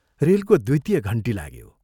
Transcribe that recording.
रेलको द्वितीय घण्टी लाग्यो।